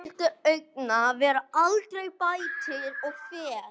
Slíkir agnúar verða aldrei bættir með fé.